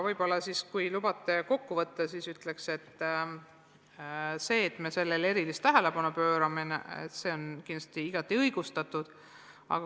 Kui lubate veel teema kokku võtta, siis ütlen, et sellele erilise tähelepanu pööramine on kindlasti igati õigustatud.